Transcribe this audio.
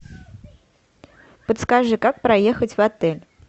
подскажи как проехать в отель